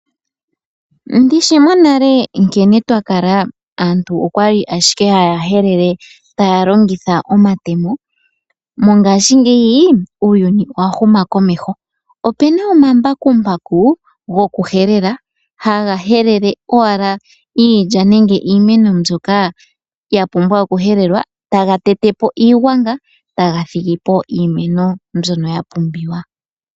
Ndishi monale nkene twakala aantu okwali ashike haya helele taya longitha omatemo. Mongashiingeyi uuyuni owa huma komeho, opena omambakumbaku goku helela haga helele owala iilya nenge iimeno mbyoka ya pumbwa oku helelwa taga tete po iigwanga taga thigipo iimeno mbyono ya pumbiwa.